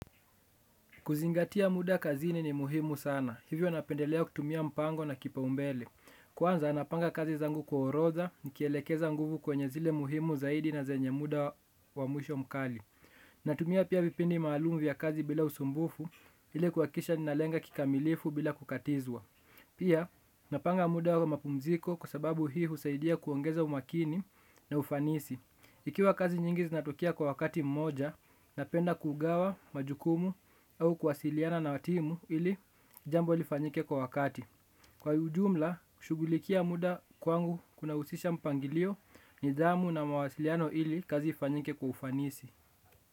Kuzingatia muda kazini ni muhimu sana. Hivyo napendelea kutumia mpango na kipaumbele. Kwanza napanga kazi zangu kwa orodha, nikielekeza nguvu kwenye zile muhimu zaidi na zenye muda wa mwisho mkali. Natumia pia vipindi maalumu vya kazi bila usumbufu, ili kuhakikisha ninalenga kikamilifu bila kukatizwa. Pia, napanga muda wa mapumziko kwasababu hii husaidia kuongeza umakini na ufanisi. Ikiwa kazi nyingi zinatokea kwa wakati mmoja, napenda kugawa majukumu au kuwasiliana na timu ili jambo lifanyike kwa wakati. Kwa ujumla, kushughulikia muda kwangu kunahusisha mpangilio nidhamu na mawasiliano ili kazi ifanyike kwa ufanisi.